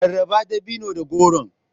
Rarraba dabinon da goron.